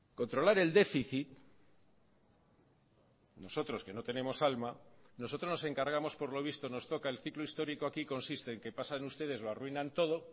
controlar el déficit nosotros que no tenemos alma nosotros nos encargamos por lo visto nos toca el ciclo histórico aquí consiste en que pasan ustedes lo arruinan todo